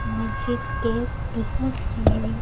मस्जिद पे बहुत सारी --